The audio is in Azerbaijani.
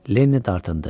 Lenniy dartındı.